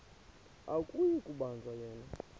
akuyi kubanjwa yena